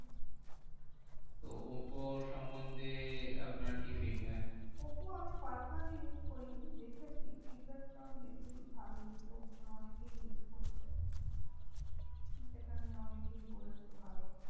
তো ওপ্পো র সন্বন্ধে আপনার কি feedback? ওপ্পো আমি personally use করিনি দেখেছি। feedback তো আমি দেখেছি, ভালোই লোকজন অনেকেই use করছে। যেটা নিয়ে অনেকেই বলেছে ভালো।